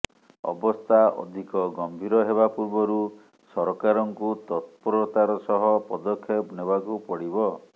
ଅବସ୍ଥା ଅଧିକ ଗମ୍ଭୀର ହେବା ପୂର୍ବରୁ ସରକାରଙ୍କୁ ତତ୍ପରତାର ସହ ପଦକ୍ଷେପ ନେବାକୁ ପଡ଼ିବ